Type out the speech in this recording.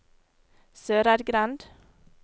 Søreidgrend